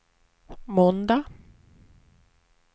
måndag